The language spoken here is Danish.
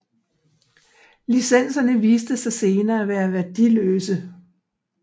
Licenserne viste sig senere at være værdiløse